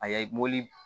A ye mobili